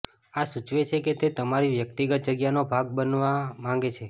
આ સૂચવે છે કે તે તમારી વ્યક્તિગત જગ્યાનો ભાગ બનવા માંગે છે